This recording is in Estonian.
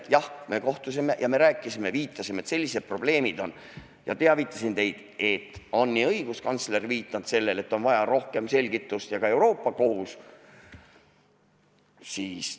Jah, me kohtusime ja me rääkisime ja viitasime, et sellised probleemid on, ja ma teavitasin teid, et on nii õiguskantsler viidanud sellele, et on vaja rohkem selgitust, ja ka Euroopa Kohus.